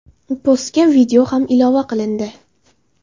Postga video ham ilova qilindi.